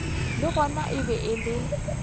le gona e be e